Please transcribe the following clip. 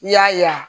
I y'a yan